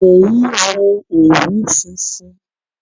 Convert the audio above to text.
Mo ń wo òwú funfun